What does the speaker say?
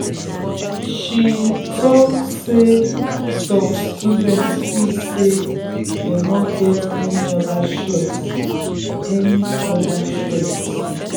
she um talk say um some students feel say dem no get any other choice. any other choice.